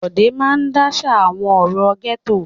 Bọ̀dé máa dáṣà àwọn ọ̀rọ̀ gẹ́tò.